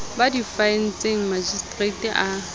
ba di faetseng makgistrata a